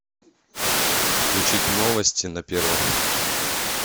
включить новости на первом